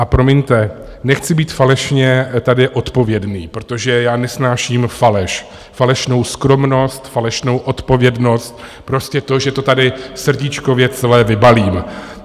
A promiňte, nechci být falešně tady odpovědný, protože já nesnáším faleš, falešnou skromnost, falešnou odpovědnost, prostě to, že to tady srdíčkově celé vybalím.